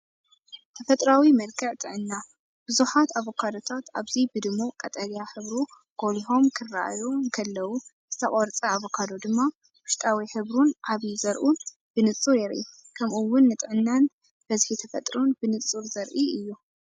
ተፈጥሮኣዊ መልክዕ ጥዕና! ብዙሓት ኣቮካዶታት ኣብዚ ብድሙቕ ቀጠልያ ሕብሩ ጐሊሖም ክረኣዩ እንከለዉ፡ ዝተቖርጸ ኣቮካዶ ድማ ውሽጣዊ ሕብሩን ዓቢ ዘርኡን ብንጹር የርኢ። ከምኡ’ውን ንጥዕናን ብዝሒ ተፈጥሮን ብንጹር ዘርኢ እዩ።